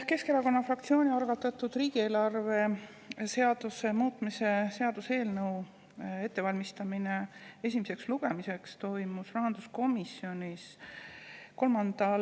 Keskerakonna fraktsiooni algatatud riigieelarve seaduse muutmise seaduse eelnõu ettevalmistamine esimeseks lugemiseks toimus rahanduskomisjonis 3. detsembril.